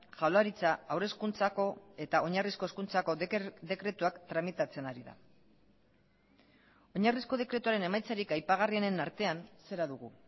jaurlaritza haur hezkuntzako eta oinarrizko hezkuntzako dekretuak tramitatzen ari da oinarrizko dekretuaren emaitzarik aipagarrienen artean zera dugu